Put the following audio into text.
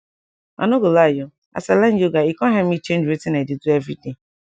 i nor go lie o as i learn yoga e com help me change wetin i dey do everyday